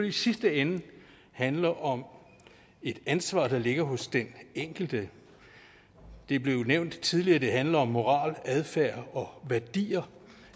i sidste ende handler om et ansvar der ligger hos den enkelte det er blevet nævnt tidligere at det handler om moral adfærd og værdier